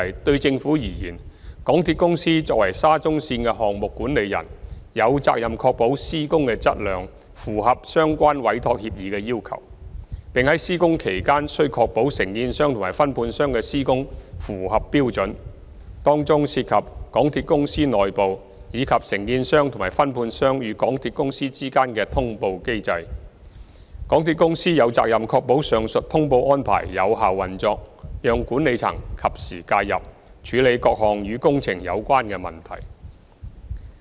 對政府而言，港鐵公司作為沙中線的項目管理人，有責任確保施工的質量符合相關委託協議的要求，並在施工期間須確保承建商和分判商的施工符合標準，當中涉及港鐵公司內部，以及承建商和分判商與港鐵公司之間的通報安排，港鐵公司有責任確保上述通報安排有效運作，讓管理層及時介入，處理各項與工程有關的問題。